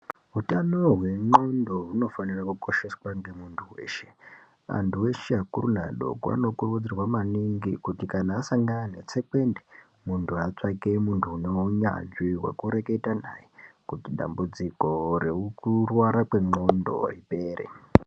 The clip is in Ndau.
Utano hwendxondo hunofanira kukosheswa ngemuntu weshe. Antu eshe akuru neadoko anokurudzirwa maningi kuti kana asangana netsekwende, muntu atsvake muntu unounyanzvi wokureketa naye kuti dambudziko rekurwara kwendxondo ripere.